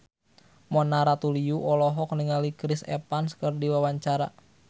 Mona Ratuliu olohok ningali Chris Evans keur diwawancara